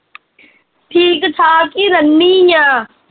ਠੀਕ ਠਾਕ ਈ ਰਹਿਨੀ ਆ